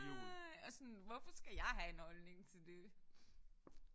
Og sådan hvorfor skal jeg have en holdning til det